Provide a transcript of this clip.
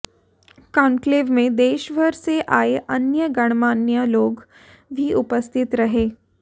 conclave में देश भर से आए अन्य गणमान्य लोग भी उपस्थित रहे